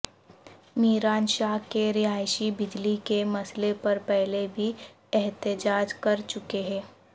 میران شاہ کے رہائشی بجلی کے مسئلے پر پہلے بھی احتجاج کر چکے ہیں